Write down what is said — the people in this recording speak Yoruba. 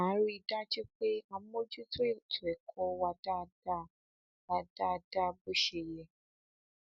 má a rí i dájú pé a mójútó ètò ẹkọ wa dáadáa wa dáadáa bó ṣe yẹ